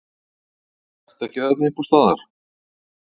Ertu ekki þarna einhvers staðar?